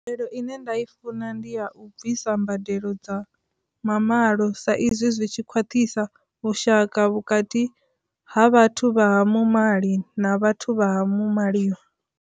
Mbadelo ine nda i funa ndi a u bvisa mbadelo dza mamalo sa izwi zwi tshi khwaṱhisa vhushaka vhukati ha vhathu vha muṅwali na vhathu vha ha maliwa.